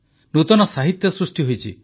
ନୂତନ ସାହିତ୍ୟ ସୃଷ୍ଟି ହୋଇଛି